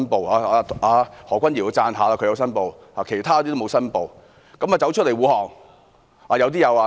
我要稱讚何君堯議員，他申報了，其他同事沒有，卻站出來護航。